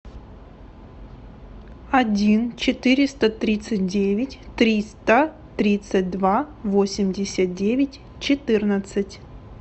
один четыреста тридцать девять триста тридцать два восемьдесят девять четырнадцать